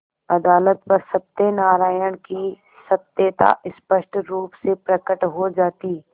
अदालत पर सत्यनारायण की सत्यता स्पष्ट रुप से प्रकट हो जाती